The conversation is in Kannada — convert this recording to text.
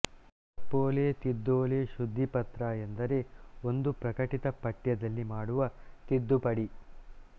ತಪ್ಪೋಲೆ ತಿದ್ದೋಲೆ ಶುದ್ಧೀಪತ್ರ ಎಂದರೆ ಒಂದು ಪ್ರಕಟಿತ ಪಠ್ಯದಲ್ಲಿ ಮಾಡುವ ತಿದ್ದುಪಡಿ